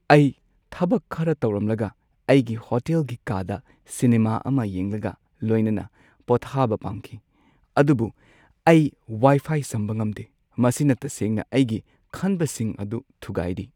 ꯑꯩ ꯊꯕꯛ ꯈꯔ ꯇꯧꯔꯝꯂꯒ ꯑꯩꯒꯤ ꯍꯣꯇꯦꯜꯒꯤ ꯀꯥꯗ ꯁꯤꯅꯦꯃꯥ ꯑꯃ ꯌꯦꯡꯂꯒ ꯂꯣꯏꯅꯅ ꯄꯣꯊꯥꯕ ꯄꯥꯝꯈꯤ, ꯑꯗꯨꯕꯨ ꯑꯩ ꯋꯥꯏꯐꯥꯏ ꯁꯝꯕ ꯉꯝꯗꯦ, ꯃꯁꯤꯅ ꯇꯁꯦꯡꯅ ꯑꯩꯒꯤ ꯈꯟꯕꯁꯤꯡ ꯑꯗꯨ ꯊꯨꯒꯥꯏꯔꯤ꯫